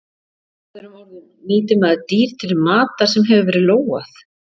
Með öðrum orðum nýtir maður dýr til matar sem hefur verið lógað?